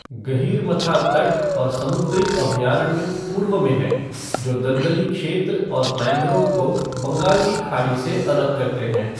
गहीरमथा तट और समुद्री अभयारण्य पूर्व में हैं, जो दलदली क्षेत्र और मैंग्रोव को बंगाल की खाड़ी से अलग करते हैं।